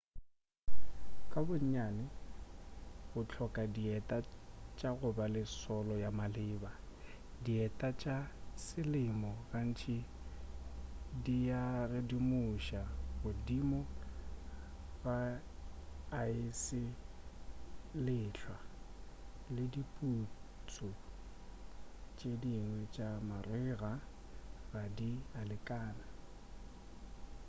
ka bonnyane o hloka dieta tša go ba le solo ya maleba dieta tša selemo gantši di a redimuša godimo ga aese le lehlwa le diputsu tše dingwe tša marega ga di a lekana